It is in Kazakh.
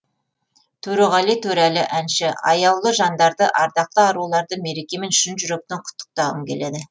төреғали төреәлі әнші аяулы жандарды ардақты аруларды мерекемен шын жүректен құттықтағым келеді